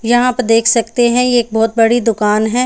यहाँ पर देख सकते है ये एक बहोत बड़ी दुकान है।